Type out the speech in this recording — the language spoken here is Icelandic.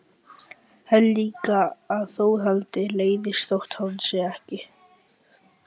Held líka að Þórhildi leiðist þótt hún segi ekkert.